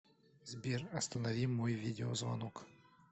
сбер останови мой видеозвонок